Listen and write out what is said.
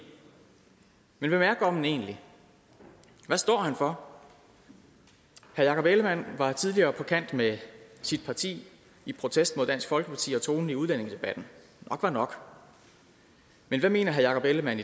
men hvem er gommen egentlig og hvad står han for herre jakob ellemann var tidligere på kant med sit parti i protest mod dansk folkeparti og tonen i udlændingedebatten nok var nok men hvad mener herre jakob ellemann